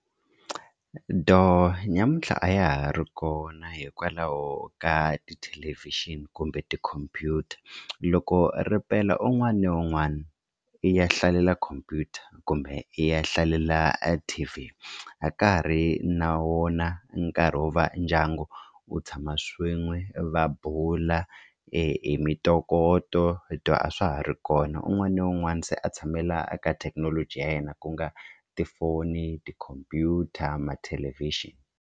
Dooh nyamuntlha a ya ha ri kona hikwalaho ka tithelevhixini kumbe tikhompyuta loko ripela un'wana na un'wana i ya hlalela khompyuta kumbe i ya hlalela a T_V a ka ha ri na wona nkarhi wo va ndyangu wu tshama swin'we va bula e mintokoto dooh a swa ha ri kona un'wana na un'wana se a tshamela ka thekinoloji ya yena ku nga tifoni tikhompyuta mathelevhixini.